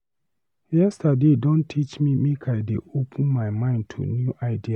Yesterday don teach me make I dey open my mind to new ideas.